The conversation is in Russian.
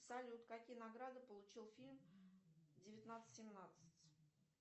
салют какие награды получил фильм девятнадцать семнадцать